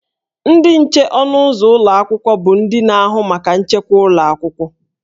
Ndị nche ọnụ ụzọ ụlọ akwụkwọ bụ ndị na-ahụ maka nchekwa ụlọ akwụkwọ